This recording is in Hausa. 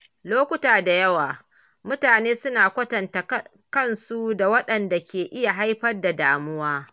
Lokuta da yawa, mutane suna kwatanta kansu da wanɗanda ke iya haifar da damuwa.